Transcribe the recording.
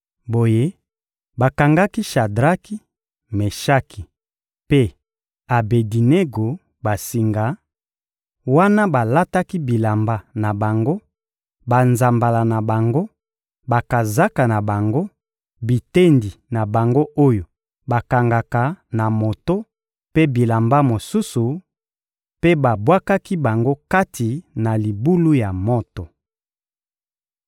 Boye, bakangaki Shadraki, Meshaki mpe Abedinego basinga, wana balataki bilamba na bango, banzambala na bango, bakazaka na bango, bitendi na bango oyo bakangaka na moto mpe bilamba mosusu, mpe babwakaki bango kati na libulu ya moto.